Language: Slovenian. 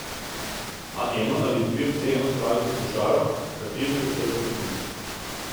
A eno ali dve vseeno spravite v košaro, v kateri je vse za piknik.